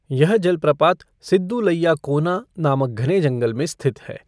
यह जलप्रपात सिद्दुलैया कोना नामक घने जंगल में स्थित है।